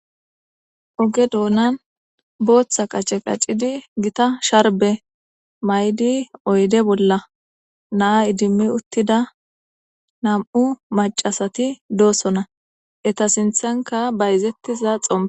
Oge dunani Botha qace qacidi gitta sharbe mayidi oge dunani oyde bolla na'a iddimi uttida nam'u macashati de'osona eta sinthanka bayizetiza xompey des.